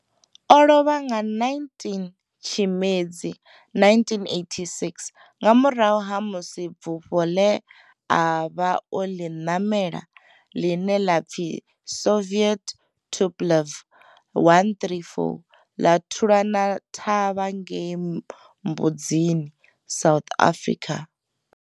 O lovha nga 19 Tshimedzi 1986 nga murahu ha musi bufho ḽe a vha o ḽi ṋamela, ḽine ḽa pfi Soviet Tupolev 134 ḽa thulana thavha ngei Mbuzini, South Africa.